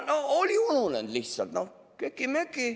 No oli ununenud lihtsalt, köki-möki.